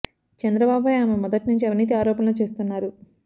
చంద్రబాబు పై ఆమె మొదటి నుంచి అవినీతి ఆరోపణలు చేస్తున్నారు